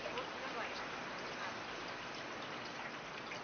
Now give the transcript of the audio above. и вот сдавайся сапиенс